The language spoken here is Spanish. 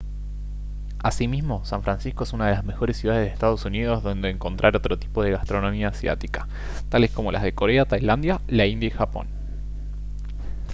asimismo san francisco es una de las mejores ciudades de ee uu donde encontrar otro tipo de gastronomía asiática tales como las de corea tailandia la india y japón